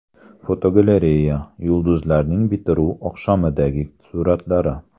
Fotogalereya: Yulduzlarning bitiruv oqshomidagi suratlari.